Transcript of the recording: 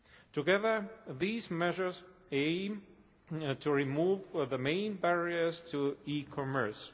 Together, these measures aim to remove the main barriers to e commerce.